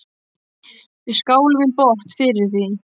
Við skálum í botn fyrir því.